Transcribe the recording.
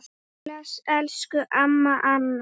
Bless, elsku amma Anna.